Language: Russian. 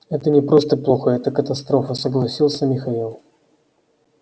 это не просто плохо это катастрофа согласился михаил